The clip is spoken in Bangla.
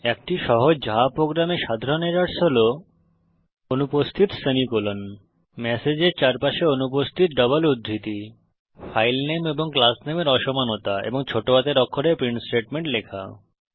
একটি সহজ জাভা প্রোগ্রাম এ সাধারণ এরর্স হল অনুপস্থিত সেমিকোলন ম্যাসেজের চারপাশে অনুপস্থিত ডবল উদ্ধৃতি ফাইল নেম এবং ক্লাস নেমের অসমানতা এবং ছোটো হাতের অক্ষরে প্রিন্ট স্টেটমেন্ট লেখা